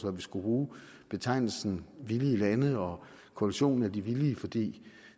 om vi skulle bruge betegnelsen villige lande og koalitionen af de villige fordi